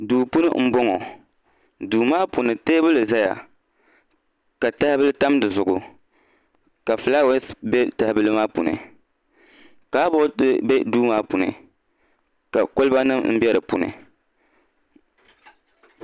duu puuni n bɔŋɔ duu maa puuni teebuli ʒɛya ka tahabili tam dizuɣu ka fulaawaasi bɛ tahabili kaabooti bɛ duu maa puuni ka kɔliba nim n bɛ di puuni maa puuni